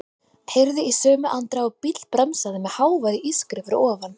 Heyrði í sömu andrá að bíll bremsaði með háværu ískri fyrir ofan.